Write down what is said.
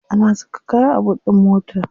Ana saka kaya a boot din mota.